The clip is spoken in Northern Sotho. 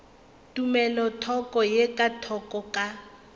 tumelothoko ye ka thoko ka